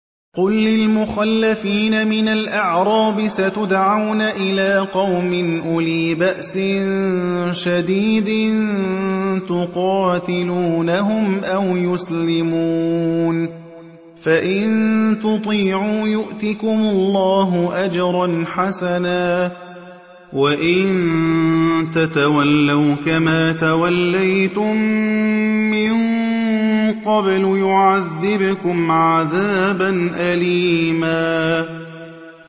قُل لِّلْمُخَلَّفِينَ مِنَ الْأَعْرَابِ سَتُدْعَوْنَ إِلَىٰ قَوْمٍ أُولِي بَأْسٍ شَدِيدٍ تُقَاتِلُونَهُمْ أَوْ يُسْلِمُونَ ۖ فَإِن تُطِيعُوا يُؤْتِكُمُ اللَّهُ أَجْرًا حَسَنًا ۖ وَإِن تَتَوَلَّوْا كَمَا تَوَلَّيْتُم مِّن قَبْلُ يُعَذِّبْكُمْ عَذَابًا أَلِيمًا